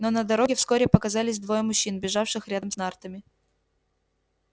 но на дороге вскоре показались двое мужчин бежавших рядом с нартами